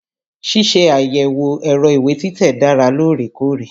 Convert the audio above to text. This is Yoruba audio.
Ṣíṣe àyẹ̀wò ẹ̀rọ ìwé títẹ̀ dára lóòrèkóòrè.